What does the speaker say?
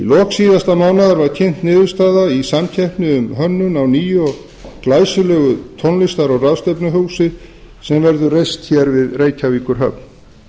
lok síðasta mánaðar var kynnt niðurstaða í samkeppni um hönnun á nýju og glæsilegu tónlistar og ráðstefnuhúsi sem reist verður við reykjavíkurhöfn